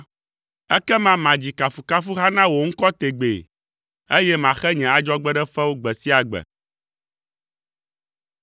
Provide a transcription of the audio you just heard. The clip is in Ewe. Ekema madzi kafukafuha na wò ŋkɔ tegbee, eye maxe nye adzɔgbeɖefewo gbe sia gbe.